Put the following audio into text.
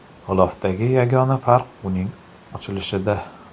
G‘ilofdagi yagona farq uning ochilishida.